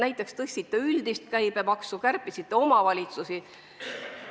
Te tõstsite üldist käibemaksu ja kärpisite omavalitsuste tulusid.